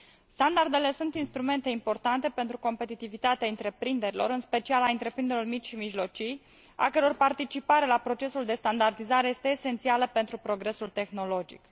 Standardele sunt instrumente importante pentru competitivitatea întreprinderilor, în special a întreprinderilor mici și mijlocii, a căror participare la procesul de standardizare este esențială pentru progresul tehnologic.